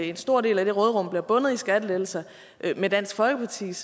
en stor del af det råderum bliver bundet i skattelettelser med dansk folkepartis